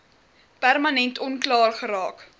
permanent onklaar geraak